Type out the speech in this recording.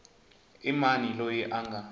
i mani loyi a nga